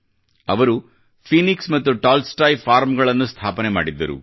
ಅವರು ಫೀನಿಕ್ಸ್ ಮತ್ತು Tolstoy farms ಗಳನ್ನು ಸ್ಥಾಪನೆ ಮಾಡಿದ್ದರು